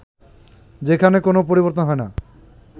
যেখানে কোন পরিবর্তন হয় না